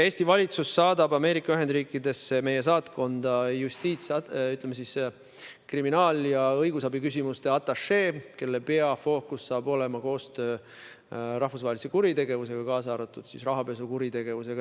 Eesti valitsus saadab Ameerika Ühendriikidesse meie saatkonda kriminaal- ja õigusabiküsimuste atašee, kelle peafookus saab olema koostöö tegemine rahvusvahelise kuritegevuse, kaasa arvatud rahapesu vastu võitlemise vallas.